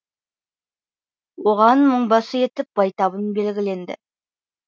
оған мыңбасы етіп байтабын белгіленді